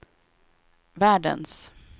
världens